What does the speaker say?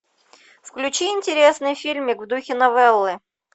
включи интересный фильмик в духе новеллы